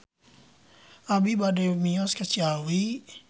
Abi bade mios ka Ciawi